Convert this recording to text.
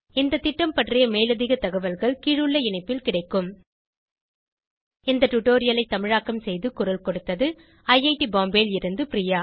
இந்த திட்டம் பற்றி மேலதிக தகவல்கள் கீழுள்ள இணைப்பில் கிடைக்கும் இந்த டுடோரியலை தமிழாக்கம் செய்து குரல் கொடுத்தது ஐஐடி பாம்பேவில் இருந்து பிரியா